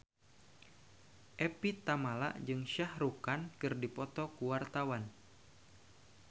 Evie Tamala jeung Shah Rukh Khan keur dipoto ku wartawan